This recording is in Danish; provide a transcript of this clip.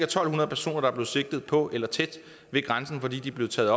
to hundrede personer der er blevet sigtet på eller tæt ved grænsen fordi de er blevet taget